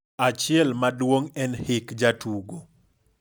Achiel maduong' en hik jatugo.